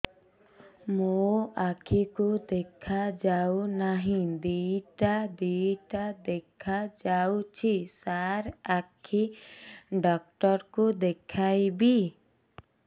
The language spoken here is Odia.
ମୋ ଆଖିକୁ ଦେଖା ଯାଉ ନାହିଁ ଦିଇଟା ଦିଇଟା ଦେଖା ଯାଉଛି ସାର୍ ଆଖି ଡକ୍ଟର କୁ ଦେଖାଇବି